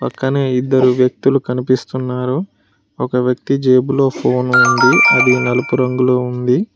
పక్కనే ఇద్దరు వ్యక్తులు కనిపిస్తున్నారు ఒక వ్యక్తి జేబులో ఫోను ఉంది అది నలుపు రంగులో ఉంది.